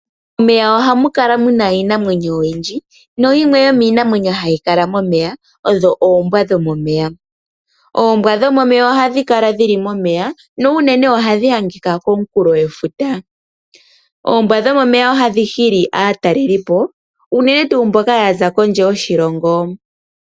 Momey ohamu kala muna iinamwenyo oyindji nayimwe yo miinamwenyo hayi kala momeya odho oombwa dho momeya. Oombwa dhomomeya ohadhi kala dhili momeya no unene ohadhi adhika komunkulo gwefuta . Oombwa dhomomeya ohadhi hili aatalelipo unene tuu mboka yaza kondje yoshilongo.